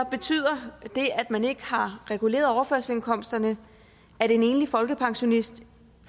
betyder det at man ikke har reguleret overførselsindkomsterne at en enlig folkepensionist